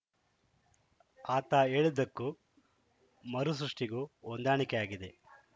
ಆತ ಹೇಳಿದ್ದಕ್ಕೂ ಮರುಸೃಷ್ಟಿಗೂ ಹೊಂದಾಣಿಕೆಯಾಗಿದೆ